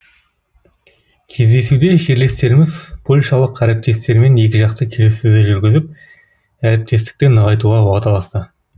кездесуде жерлестеріміз польшалық әріптестерімен екіжақты келіссөздер жүргізіп әріптестікті нығайтуға уағдаласты